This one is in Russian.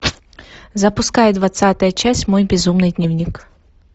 запускай двадцатая часть мой безумный дневник